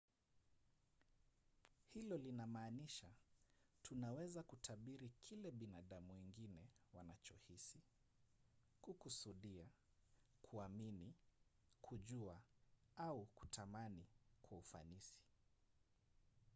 hilo linamaanisha tunaweza kutabiri kile binadamu wengine wanachohisi kukusudia kuamini kujua au kutamani kwa ufanisi